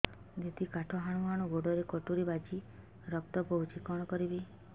ଦିଦି କାଠ ହାଣୁ ହାଣୁ ଗୋଡରେ କଟୁରୀ ବାଜି ରକ୍ତ ବୋହୁଛି କଣ କରିବି